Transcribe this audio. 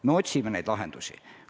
Me otsime lahendusi.